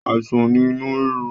Àìsàn ni inu rírun